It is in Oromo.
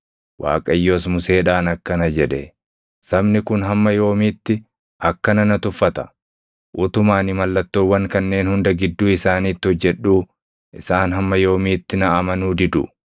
Waaqayyos Museedhaan akkana jedhe; “Sabni kun hamma yoomiitti akkana na tuffata? Utuma ani mallattoowwan kanneen hunda gidduu isaaniitti hojjedhuu isaan hamma yoomiitti na amanuu didu?